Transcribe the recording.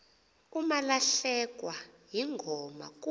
umalahlekwa yingoma kuh